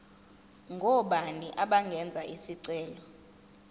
ngobani abangenza isicelo